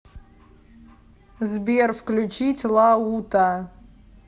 сбер включить лаута